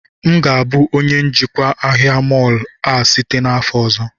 M ga-abụ onye njikwa ahịa mọọlụ a site n'afọ ọzọ